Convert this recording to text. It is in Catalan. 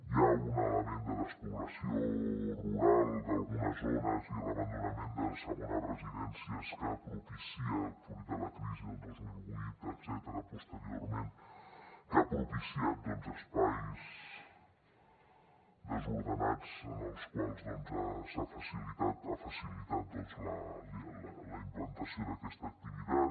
hi ha un element de despoblació rural d’algunes zones i l’abandonament de segones residències que propicia fruit de la crisi del dos mil vuit etcètera posteriorment que ha propiciat espais desordenats els quals han facilitat la implantació d’aquesta activitat